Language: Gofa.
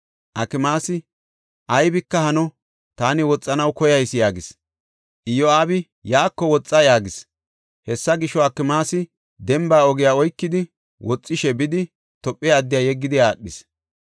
Akimaasi, “Aybika hano; taani woxanaw koyayis” yaagis. Iyo7aabi, “Yaako woxa” yaagis. Hessa gisho, Akimaasi demba ogiya oykidi woxishe bidi Tophe addiya yeggidi aadhis.